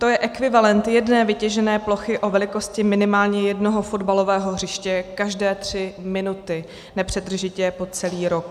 To je ekvivalent jedné vytěžené plochy o velikosti minimálně jednoho fotbalového hřiště každé tři minuty nepřetržitě po celý rok.